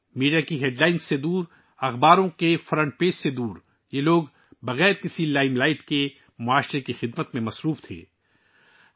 media کی شہ سرخیوں سے دور، اخبارات کے پہلے صفحے سے دور، یہ لوگ بغیر کسی لائم لائٹ کے سماجی خدمت میں مشغول رہے ہیں